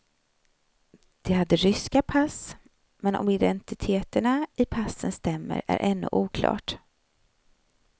De hade ryska pass, men om identiteterna i passen stämmer är ännu oklart.